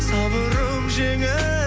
сабырым жеңіп